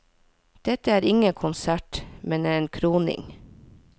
Det er ingen konsert, men en kroning.